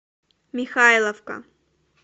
михайловка